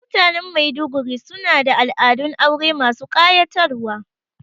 Mutanen Maiduguri su na da al'adun aure masu ƙayatarwa